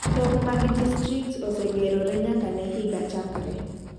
Tong' mag distrikts osegerore nyaka ne higa chakre.